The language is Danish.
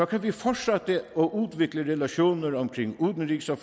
kan vi fortsætte og udvikle relationer omkring udenrigs og